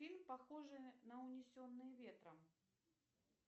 фильм похожий на унесенные ветром